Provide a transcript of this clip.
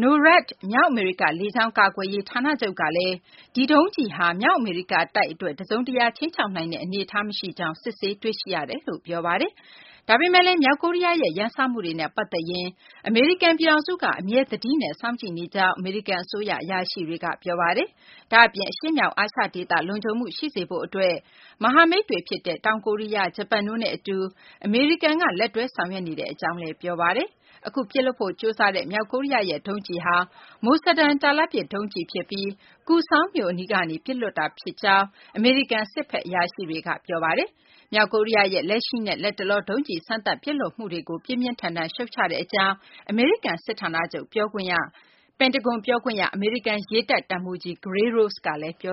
၊ NORAD မြောက်အမေရိက လေကြောင်း ကာကွယ်ရေး ဌာနချုပ်ကလည်း ဒီဒုံးကျည်ဟာ မြောက်အမေရိကတိုက်အတွက် တစုံတရာ ခြိမ်းခြောက်နိုင်တဲ့ အနေထားမရှိကြောင်း စစ်ဆေးတွေ့ရှိရတယ်လို့ ပြောပါတယ်။ ဒါပေမယ့်လည်း မြောက်ကိုရီးယားရဲ့ ရန်စမှုတွေနဲ့ ပတ်သက်ရင် အမေရိကန် ပြည်ထောင်စုက အမြဲ သတိနဲ့ စောင့်ကြည့်နေကြောင်း အမေရိကန် အစိုးရ အရာရှိတွေက ပြောပါတယ်။ ဒါ့အပြင် အရှေ့မြောက် အာရှဒေသ လုံခြုံမှု ရှိစေဖို့အတွက် မဟာမိတ်တွေဖြစ်တဲ့ တောင်ကိုရီးယား၊ ဂျပန်တို့နဲ့ အတူ အမေရိကန်က လက်တွဲဆောင်ရွက်နေကြောင်းလည်း ပြောပါတယ်။ အခု ပစ်လွှတ်ဖို့ ကြိုးစားတဲ့ မြောက်ကိုရီးယားရဲ့ ဒုံးကျည်ဟာ Musadan တာလတ်ပစ် ဒုံးကျည် ဖြစ်ပြီး Kusŏng မြို့နားကနေ ပစ်လွှတ်တာဖြစ်ကြောင်း အမေရိကန်စစ်ဘက် အရာရှိတွေက ပြောပါတယ်။ မြောက်ကိုရီးယားရဲ့ လက်ရှိနဲ့ လတ်တလော ဒုံးကျည် စမ်းသပ်ပစ်လွှတ်မှုတွေကို ပြင်းပြင်းထန်ထန် ရှုတ်ချကြောင်း အမေရိကန် စစ်ဌာနချုပ် ပန်တဂွန် ပြောခွင့်ရ အမေရိကန်ရေတပ် တပ်မှုးကြီး Gary Ross ကပြောပါတယ်။